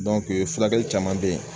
fulakɛli caman bɛ ye.